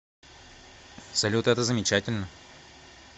салют это замечательно